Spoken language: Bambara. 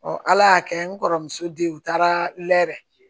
ala y'a kɛ n kɔrɔmuso de ye u taara lɛ